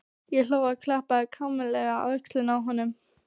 Ég hló og klappaði kumpánlega á öxlina á honum.